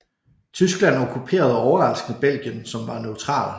Tyskland okkuperede overraskende Belgien som var neutral